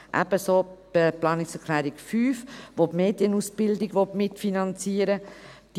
Dasselbe gilt für die Planungserklärung 5, welche die Medienausbildung mitfinanzieren will.